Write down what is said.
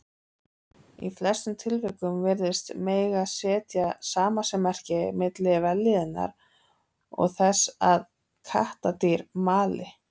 Í flestum tilvikum virðist mega setja samasemmerki milli vellíðunar og þess að kattardýr mali.